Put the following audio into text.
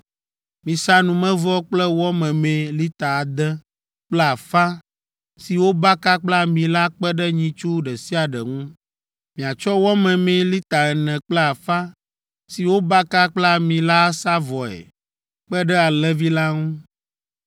Misa numevɔ kple wɔ memee lita ade kple afã si wobaka kple ami la kpe ɖe nyitsu ɖe sia ɖe ŋu, miatsɔ wɔ memee lita ene kple afã si wobaka kple ami la asa vɔe kpe ɖe alẽvi la ŋu,